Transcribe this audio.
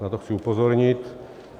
Na to chci upozornit.